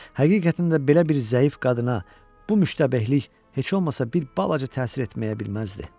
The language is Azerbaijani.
Həqiqətən də belə bir zəif qadına bu müştabehlik heç olmasa bir balaca təsir etməyə bilməzdi.